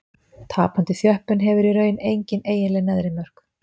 Tapandi þjöppun hefur í raun engin eiginleg neðri mörk.